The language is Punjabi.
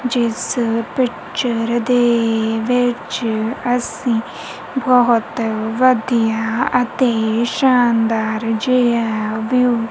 ਜਿੱਸ ਪਿਕਚਰ ਦੇ ਵਿੱਚ ਅੱਸੀਂ ਬਹੁਤ ਵਧੀਆ ਅਤੇ ਸ਼ਾਨਦਾਰ ਜਿਹਾ ਵਿਊ --